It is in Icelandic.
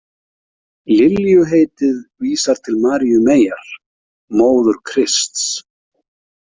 Liljuheitið vísar til Maríu meyjar, móður Krists.